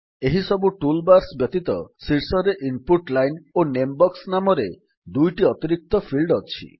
ଏହିସବୁ tool bars ବ୍ୟତୀତ ଶୀର୍ଷରେ ଇନପୁଟ୍ ଲାଇନ୍ ଓ ନେମ୍ ବକ୍ସ ନାମରେ ଦୁଇଟି ଅତିରିକ୍ତ ଫିଲ୍ଡ ଅଛି